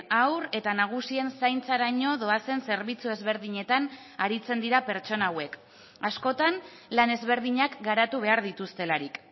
haur eta nagusien zaintzaraino doazen zerbitzu ezberdinetan aritzen dira pertsona hauek askotan lan ezberdinak garatu behar dituztelarik